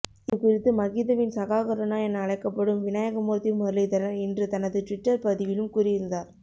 இது குறித்து மகிந்தவின் சகா கருணா என அழைக்கப்படும் விநாயகமூர்த்தி முரளிதரன் இன்று தனது டுவிட்டர் பதிவிலும் கூறியிருந்தார்